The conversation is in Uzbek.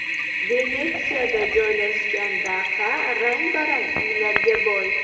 Venetsiyada joylashgan daha rang-barang uylarga boy.